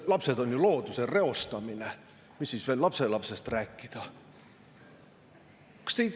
Lapsed on ju looduse reostamine, mis siis veel lapselapsest rääkida!